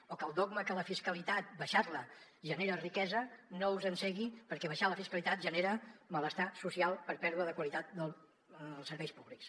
o que el dogma que la fiscalitat abaixar la genera riquesa no us encegui perquè abaixar la fiscalitat genera malestar social per pèrdua de qualitat dels serveis públics